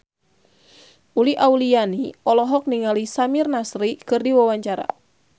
Uli Auliani olohok ningali Samir Nasri keur diwawancara